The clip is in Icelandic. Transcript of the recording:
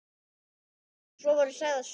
Svo voru sagðar sögur.